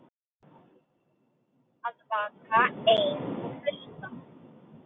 Að vaka einn og hlusta